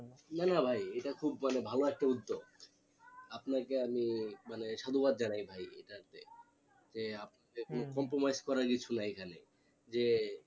না না ভাই এটা খুব মানে ভালো একটা উদ্যোগ আপনাকে আমি মানে সাধুবাদ জানাই ভাই এটাতে যে compromise করার কিছু নাই এখানে যে